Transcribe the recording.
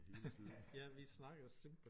Ja vi snakkede og så tænkte på